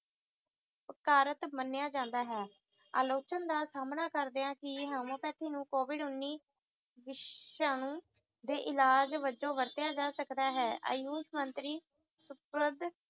ਓਪਚਾਰਿਤ ਮੰਨਿਆ ਜਾਂਦਾ ਹੈ ਆਲੋਚਨ ਦਾ ਸਾਹਮਣਾ ਕਰਦਿਆਂ ਕਿਹਾ homeopathy ਨੂੰ ਕੋਵਿਡ ਉੱਨੀ ਵਿਸ਼ਾਣੂ ਦੇ ਇਲਾਜ ਵੱਜੋਂ ਵਰਤਿਆ ਜਾ ਸਕਦਾ ਹੈ ਆਯੂਸ਼ ਮੰਤਰੀ